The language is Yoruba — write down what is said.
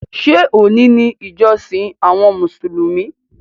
Ṣé òní ni ìjọsìn àwọn Mùsùlùmí?